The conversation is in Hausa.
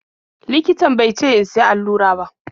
Likitan be ce in siya allura ba.